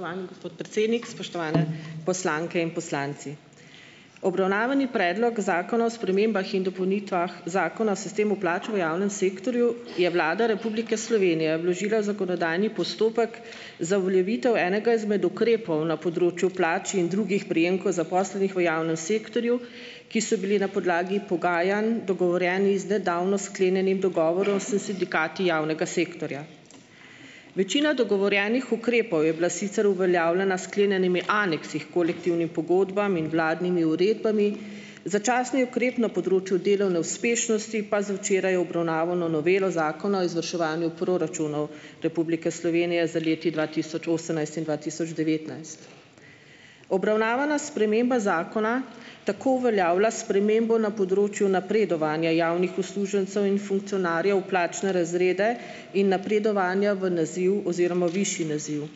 Spoštovani gospod predsednik, spoštovane poslanke in poslanci. Obravnavani Predlog zakona o spremembah in dopolnitvah Zakona o sistemu plač v javnem sektorju je Vlada Republike Slovenije vložila v zakonodajni postopek za uveljavitev enega izmed ukrepov na področju plač in drugih prejemkov zaposlenih v javnem sektorju, ki so bili na podlagi pogajanj dogovorjeni z nedavno sklenjenim dogovorom s sindikati javnega sektorja. Večina dogovorjenih ukrepov je bila sicer uveljavljena s sklenjenimi aneksi h kolektivnim pogodbam in vladnimi uredbami, začasni ukrep na področju delovne uspešnosti pa z včeraj obravnavano novelo Zakona o izvrševanju proračunov Republike Slovenije za leti dva tisoč osemnajst in dva tisoč devetnajst. Obravnavana sprememba zakona tako uveljavlja spremembo na področju napredovanja javnih uslužbencev in funkcionarjev v plačne razrede in napredovanja v naziv oziroma višji naziv.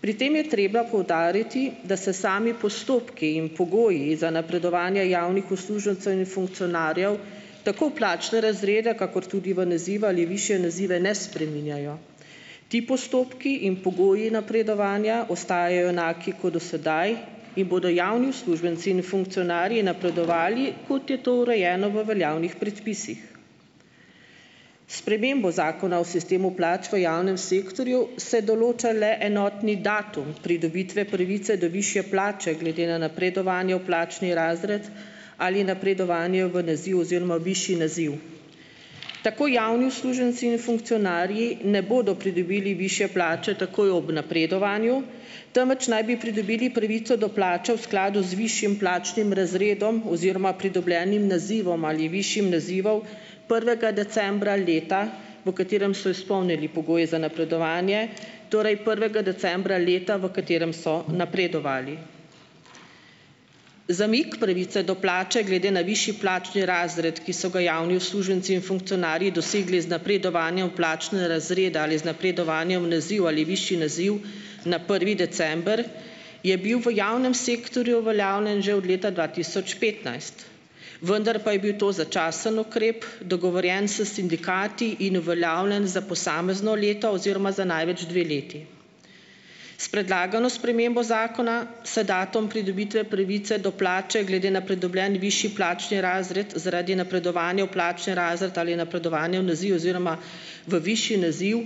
Pri tem je treba poudariti, da se sami postopki in pogoji za napredovanja javnih uslužbencev in funkcionarjev tako v plačne razrede kakor tudi v nazive ali višje nazive ne spreminjajo. Ti postopki in pogoji napredovanja ostajajo enaki kot do sedaj in bodo javni uslužbenci in funkcionarji napredovali, kot je to urejeno v veljavnih predpisih. S spremembo Zakona o sistemu plač v javnem sektorju se določa le enotni datum pridobitve pravice do višje plače glede na napredovanje v plačni razred ali napredovanje v naziv oziroma višji naziv. Tako javni uslužbenci in funkcionarji ne bodo pridobili višje plače takoj ob napredovanju, temveč naj bi pridobili pravico do plače v skladu z višjim plačnim razredom oziroma pridobljenim nazivom ali višjim nazivom, prvega decembra leta, v katerem so izpolnili pogoje za napredovanje, torej prvega decembra leta, v katerem so napredovali. Zamik pravice do plače glede na višji plačni razred, ki so ga javni uslužbenci in funkcionarji dosegli z napredovanjem v plačne razrede ali z napredovanjem v naziv ali višji naziv na prvi december, je bil v javnem sektorju uveljavljen že od leta dva tisoč petnajst, vendar pa je bil to začasni ukrep, dogovorjen s sindikati in uveljavljen za posamezno leto oziroma za največ dve leti. S predlagano spremembo zakona se datum pridobitve pravice do plače glede na pridobljen višji plačni razred zaradi napredovanja v plačni razred ali napredovanje v naziv oziroma v višji naziv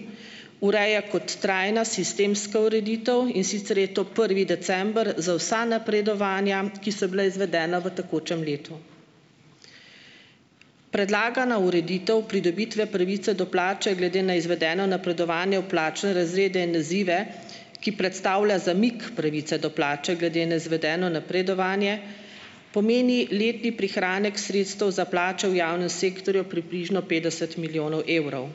ureja kot trajna sistemska ureditev, in sicer je to prvi december za vsa napredovanja, ki so bile izvedena v tekočem letu. Predlagana ureditev pridobitve pravice do plače glede na izvedeno napredovanje v plačne razrede in nazive, ki predstavlja zamik pravice do plače glede na izvedeno napredovanje, pomeni letni prihranek sredstev za plače v javnem sektorju približno petdeset milijonov evrov.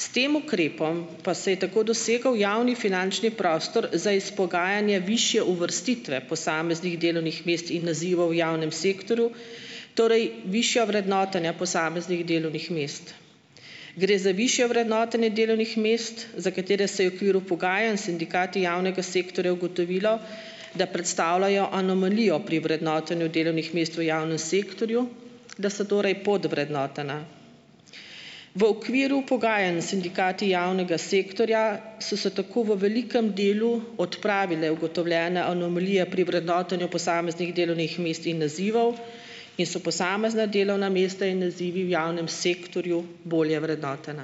S tem ukrepom pa se je tako dosegel javni finančni prostor za izpogajanje višje uvrstitve posameznih delovnih mest in nazivov v javnem sektorju, torej višja vrednotenja posameznih delovnih mest. Gre za višje vrednotenje delovnih mest za katere se je v okviru pogajanj s sindikati javnega sektorja ugotovilo, da predstavljajo anomalijo pri vrednotenju delovnih mest v javnem sektorju, da so torej podvrednotena. V okviru pogajanj s sindikati javnega sektorja so se tako v velikem delu odpravile ugotovljene anomalije pri vrednotenju posameznih delovnih mest in nazivov in so posamezna delovna mesta in nazivi v javnem sektorju bolje vrednotena.